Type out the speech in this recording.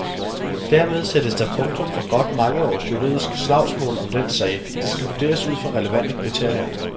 Dermed sættes der punktum for godt mange års juridisk slagsmål om den sag. Det skal vurderes ud fra relevante kriterier.